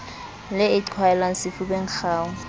le e qhwaelwang sefubeng kgau